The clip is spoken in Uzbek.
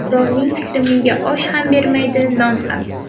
Birovning fikri menga osh ham bermaydi, non ham!